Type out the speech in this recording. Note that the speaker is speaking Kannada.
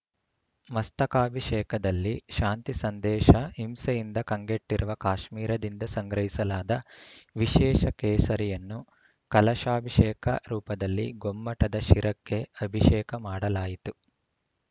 ಮಸ್ತಕಾಭಿಷೇಕದಲ್ಲಿ ಶಾಂತಿ ಸಂದೇಶ ಹಿಂಸೆಯಿಂದ ಕಂಗೆಟ್ಟಿರುವ ಕಾಶ್ಮೀರದಿಂದ ಸಂಗ್ರಹಿಸಲಾದ ವಿಶೇಷ ಕೇಸರಿಯನ್ನು ಕಲಶಾಭಿಷೇಕ ರೂಪದಲ್ಲಿ ಗೊಮ್ಮಟದ ಶಿರಕ್ಕೆ ಅಭಿಷೇಕ ಮಾಡಲಾಯಿತು